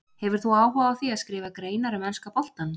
Hefur þú áhuga á því að skrifa greinar um enska boltann?